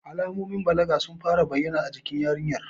Alamomin balaga sun fara bayyana a jikin yarinyar.